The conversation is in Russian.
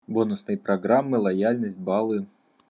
бонусные программы лояльность баллы